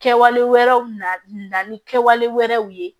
Kɛwalew na na ni kɛwale wɛrɛw ye